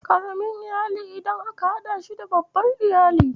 Ƙaramin iyali ƙarami idan aka haɗa shi da babban Iyali.